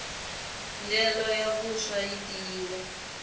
ndyelo ya vuswa yi tiyile